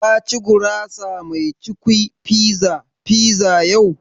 Ka ci gurasa mai cukwi (pizza) fiza yau?